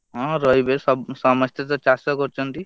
ହଁ, ରହିବେ ସମସ୍ତେ ତ ଚାଷ କରୁଛନ୍ତି।